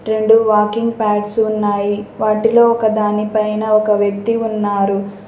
రెండు walking pads ఉన్నాయి వాటిలో ఒక దానిపైన ఒక వ్యక్తి ఉన్నారు.